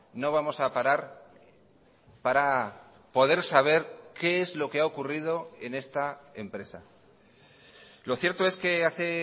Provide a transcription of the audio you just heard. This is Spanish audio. no vamos a parar para poder saber qué es lo que ha ocurrido en esta empresa lo cierto es que hace